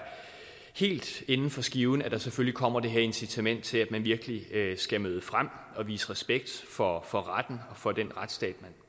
helt inden for skiven at der selvfølgelig kommer det her incitament til at man virkelig skal møde frem og vise respekt for for retten og for den retsstat